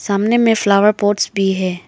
सामने में flower pots भी है।